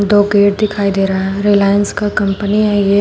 दो गेट दिखाई दे रहा है रिलायंस की कंपनी है ये।